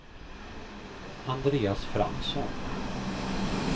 Andreas Fransson